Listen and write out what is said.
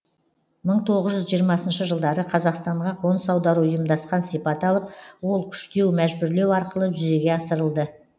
мың тоғыз жүз жиырмасыншы жылдары қазақстанға қоныс аудару ұйымдасқан сипат алып ол күштеу мәжбүрлеу арқылы жүзеге асырылды